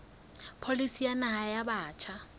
pholisi ya naha ya batjha